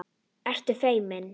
Ertu feimin?